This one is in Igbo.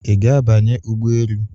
I ga abanye ụgbọ elu?